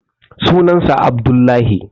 sunan sa Abdullahi